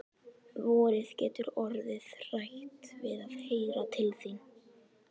Vorið getur orðið hrætt við að heyra til þín.